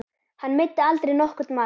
Hann meiddi aldrei nokkurn mann.